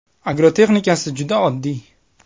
Agrotexnikasi juda oddiy.